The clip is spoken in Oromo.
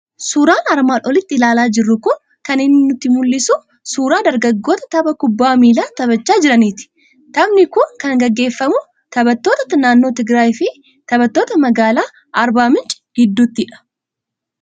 Suuraan armaan olitti ilaalaa jirru kun kan inni nutti mul'isu, suuraa dargaggoota tapha kubbaa miilaa taphachaa jiraniiti. Taphni kun kan inni gaggeeffamu taphattoota naannoo Tigiraayi fi taphattoota magaalaa Arbaa Mincii gidduuttidha.